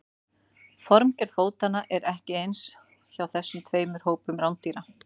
formgerð fótanna er ekki eins hjá þessum tveimur hópum rándýra